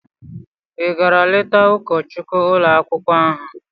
Ị gara leta ụkọchukwu ụlọ akwụkwọ ahụ?